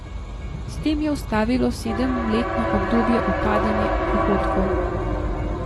S tem je ustavilo sedemletno obdobje upadanje prihodkov.